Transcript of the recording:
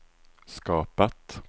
skapat